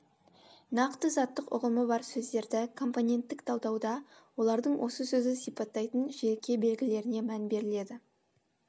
нақты заттық ұғымы бар сөздерді компоненттік талдауда олардың осы сөзді сипаттайтын жеке белгілеріне мән беріледі